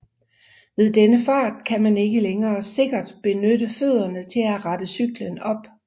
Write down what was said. Ved denne fart kan man ikke længere sikkert benytte fødderne til at rette cyklen op